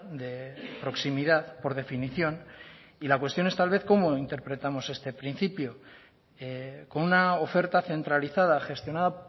de proximidad por definición y la cuestión es tal vez cómo interpretamos este principio con una oferta centralizada gestionada